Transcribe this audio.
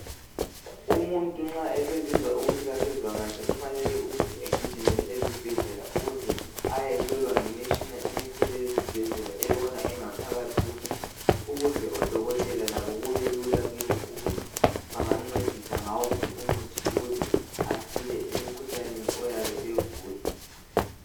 Umuntu nxa esezizwa ukuthi akasezwa kahle kufanele agijimele ezibhedlela ukuze ayehlolwa ngemitshina emikhulu eyezibhedlela ebona ingaphakathi yomuntu ukuze odokotela labo kubelula kibo ukuthi bangamncedisa ngawuphi umuthi ukuze asile emkhuhlaneni oyabe ewugula.